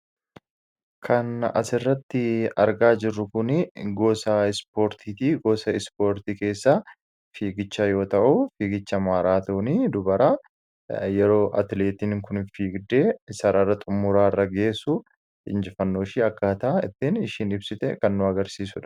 Kan asirratti argaa jirru kuni gosa ispoortiiti. Gosa Ispoortii keessaa fiigicha yoo ta'u, fiigicha maraatoonii dubaraa, yeroo atileetiin kun fiigdee sarara xumuraa irra geessu, injifannooshee akkaataa ittiin isheen ibsite kan nu agarsiisudha.